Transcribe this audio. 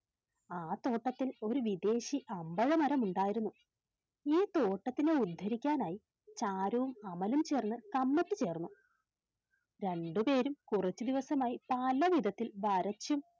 ആ തോട്ടത്തിൽ ഒരു വിദേശി അമ്പഴ മരം ഉണ്ടായിരുന്നു ഈ തോട്ടത്തിനെ ഉദ്ധരിക്കാനായി ചാരുവും അമലും ചേർന്ന് കമ്മിറ്റി ചേർന്നു രണ്ട് പേരും കുറച്ചു ദിവസമായി പല വിധത്തിൽ വരച്ചും